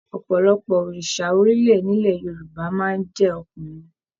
Ọpọlọpọ òòsà orilẹ nilẹ̀ Yorùbá máa n jẹ ọkùnrin